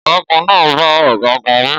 Ọ̀gágun náà bá ọ̀gágun wí